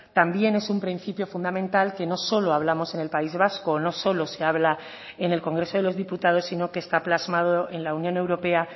también es un principio fundamental que no solo hablamos en el país vasco o no solo se habla en el congreso de los diputados sino que está plasmado en la unión europea